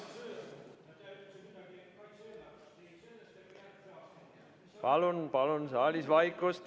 Palun saalis vaikust!